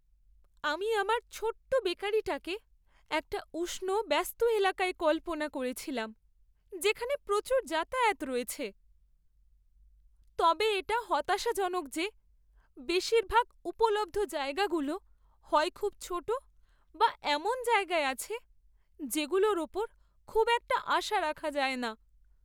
আমি আমার ছোট্ট বেকারিটাকে একটা উষ্ণ, ব্যস্ত এলাকায় কল্পনা করেছিলাম যেখানে প্রচুর যাতায়াত রয়েছে, তবে এটা হতাশাজনক যে বেশিরভাগ উপলব্ধ জায়গাগুলো হয় খুব ছোট বা এমন জায়গায় আছে যেগুলোর উপর খুব একটা আশা রাখা যায় না।